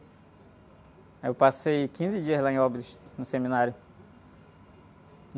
Aí eu passei quinze dias lá em Óbidos, no seminário.